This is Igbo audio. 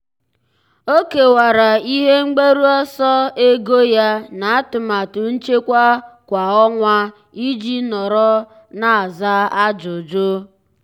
ọ́ kèwàrà ihe mgbaru ọsọ ego ya n’átụ́màtụ nchekwa kwa ọnwa iji nọ́rọ́ n’ázá ájụ́jụ́.